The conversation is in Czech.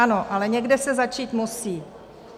Ano, ale někde se začít musí.